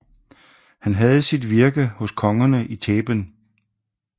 Han havde sit virke hos kongerne i Theben